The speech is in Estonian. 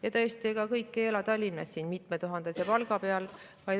Ja tõesti, ega kõik ei ela Tallinnas mitmetuhandese palga peal.